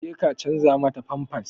Je ki canza mata famfas!